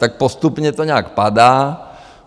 Tak postupně to nějak padá.